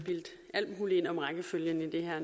alt muligt ind om rækkefølgen i det her